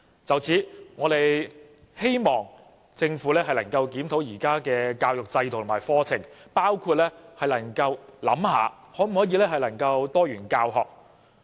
就此，我們希望政府能夠檢討現行教育制度及課程，包括思考可否推動多元教學。